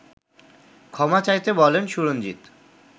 ক্ষমা চাইতে বলেন সুরঞ্জিত